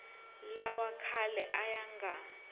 lawa khale a ya nga